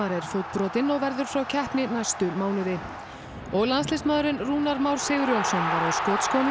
er fótbrotinn og verður frá keppni næstu mánuði og landsliðsmaðurinn Rúnar Már Sigurjónsson var á skotskónum í